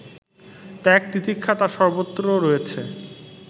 ত্যাগ-তিতিক্ষা তার সর্বত্র রয়েছে